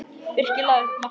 Birkir lagði upp markið.